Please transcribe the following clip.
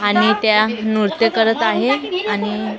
आणि त्या नृत्य करत आहे आणि--